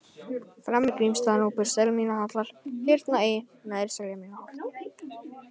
Fremri-Grímsstaðanúpur, Selmýrarhallar, Hyrna I, Neðra-Seljamýrarholt